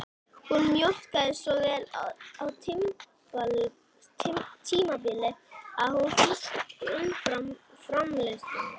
Hún mjólkaði svo vel á tímabili að hún frysti umfram-framleiðsluna